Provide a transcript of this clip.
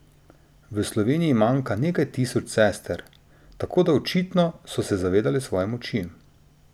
V Sloveniji manjka nekaj tisoč sester, tako da očitno so se zavedale svoje moči.